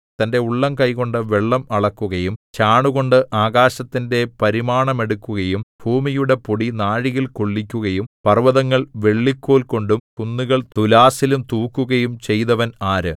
തന്റെ ഉള്ളംകൈകൊണ്ടു വെള്ളം അളക്കുകയും ചാണുകൊണ്ട് ആകാശത്തിന്റെ പരിമാണമെടുക്കുകയും ഭൂമിയുടെ പൊടി നാഴിയിൽ കൊള്ളിക്കുകയും പർവ്വതങ്ങൾ വെള്ളിക്കോൽകൊണ്ടും കുന്നുകൾ തുലാസിലും തൂക്കുകയും ചെയ്തവൻ ആര്